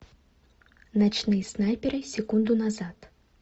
ночные снайперы секунду назад